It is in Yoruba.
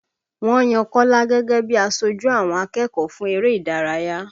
Wọ́n yan Kọ́lá gẹ́gẹ́ bí i aṣojú àwọn akẹ́kọ̀ọ́ fún eré ìdárayá